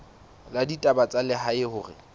la ditaba tsa lehae hore